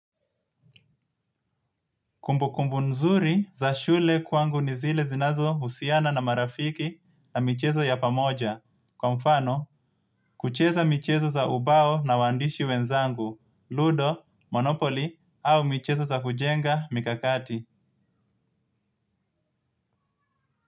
Kumbukumbu nzuri za shule kwangu ni zile zinazo usiana na marafiki na michezo ya pamoja, kwa mfano kucheza michezo za ubao na waandishi wenzangu, ludo, monopoli au michezo za kujenga mikakati.